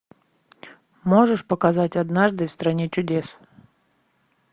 можешь показать однажды в стране чудес